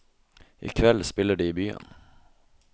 I kveld spiller de i byen.